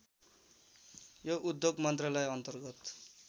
यो उद्योग मन्त्रालयअन्तर्गत